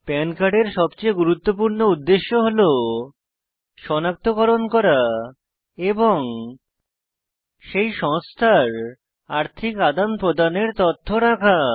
পান কার্ডের সবচেয়ে গুরুত্বপূর্ণ উদ্দেশ্য হল সনাক্তকরণ করা এবং সেই সংস্থার আর্থিক আদান প্রদানের তথ্য রাখা